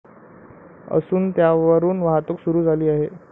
असून, त्यावरून वाहतूक सुरू झाली आहे.